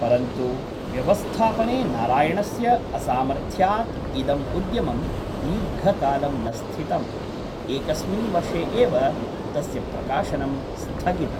परन्तु, व्यवस्थापने नारायणस्य असामर्थ्यात् इदम् उद्यमं दीर्घकालं न स्थितम्, एकस्मिन् वर्षे एव तस्य प्रकाशनं स्थगितम्।